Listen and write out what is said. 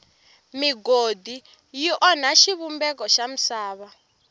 migodi yi onha xivumbeko xa misava